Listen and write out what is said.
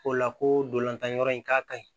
O la ko ntolantan yɔrɔ in k'a ka ɲi